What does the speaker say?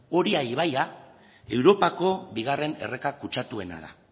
oria ibaia europako bigarren erreka kutsatuena da